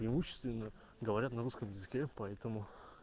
имущественное говорят на русском языке поэтому